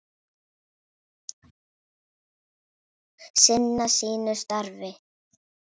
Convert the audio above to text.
Sinnir sínu starfi.